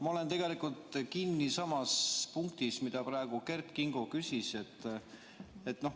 Ma olen tegelikult kinni samas punktis, mille kohta praegu Kert Kingo küsis.